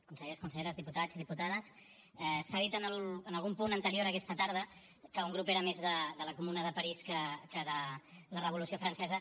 consellers conselleres diputats diputades s’ha dit en algun punt anterior aquesta tarda que un grup era més de la comuna de parís que de la revolució francesa